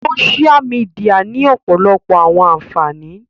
Sósia mìdìya ni ọpọlọpọ awọn anfani